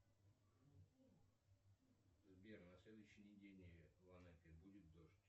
сбер на следующей неделе в анапе будет дождь